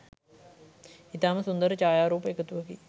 ඉතාම සුන්දර ඡායාරූප එකතුවකි.